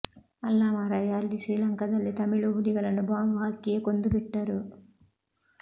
ಅಲ್ಲಾ ಮಾರಾಯ ಅಲ್ಲಿ ಶ್ರೀಲಂಕಾದಲ್ಲಿ ತಮಿಳು ಹುಲಿಗಳನ್ನು ಬಾಂಬು ಹಾಕಿಯೇ ಕೊಂದು ಬಿಟ್ಟರು